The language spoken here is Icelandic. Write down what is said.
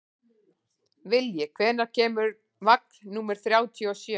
Vilji, hvenær kemur vagn númer þrjátíu og sjö?